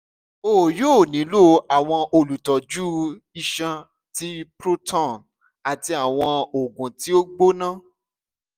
o yoo nilo awọn olutọju iṣan ti proton ati awọn oogun ti o gbona